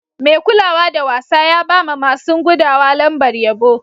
Mai kulawa da wasa ya ba ma masun gudawa lambar yabo.